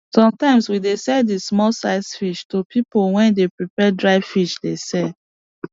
sometimes we dey sell di small size fish to pipo wey dey prepare dry fish dey sell